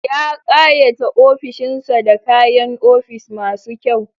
Ya ƙayata ofishin sa da kayan ofis masu kyau